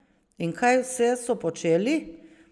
In kaj vse so počeli?